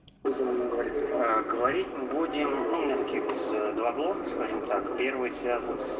говорить будем гипса два блока скажем так первое